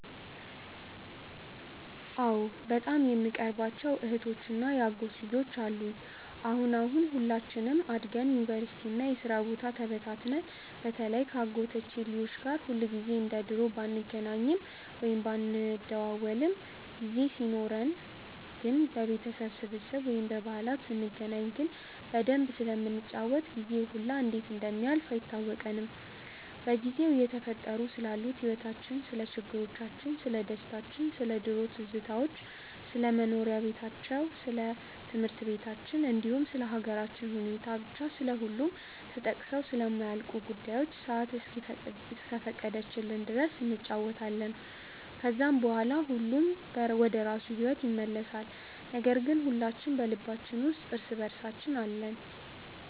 አዎ በጣም የምቀርባቸው እህቶች እና የአጎት ልጆች አሉኝ። አሁን አሁን ሁላችንም አድገን ዩኒቨርሲቲ እና የስራ ቦታ ተበታትነን በተለይ ከ አጎቶቼ ልጆች ጋር ሁልጊዜ እንደ ድሮ ባንገናኝም ወይም ባንደዋወልም ጊዜ ኖርን ግን በቤተሰብ ስብስብ ወይም በዓላት ስንገናኝ ግን በደንብ ስለምንጫወት ጊዜው ሁላ እንዴት እንደሚያልፍ አይታወቀንም። በጊዜው እየተፈጠሩ ስላሉት ህይወቲቻችን፣ ስለ ችግሮቻችን፣ ስለደስታችን፣ ስለ ድሮ ትዝታዎች፣ ስለ መስሪያ በታቸው ወይም ስለ ትምህርት በታችን እንዲሁም ስለ ሃገራችን ሁኔታ፤ ብቻ ስለሁሉም ተጠቅሰው ስለማያልቁ ጉዳዮች ሰአት እስከፈቀደችልን ድረስ እንጫወታለን። ከዛም በኋላ ሁሉም ወደራሱ ሂዎት ይመለሳል ነገር ግን ሁላችን በልባችን ውስጥ እርስ በእርሳችን አለን።